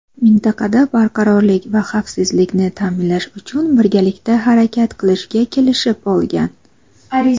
mintaqada barqarorlik va xavfsizlikni ta’minlash uchun birgalikda harakat qilishga kelishib olgan.